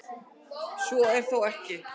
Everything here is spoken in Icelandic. Svo er þó ekki.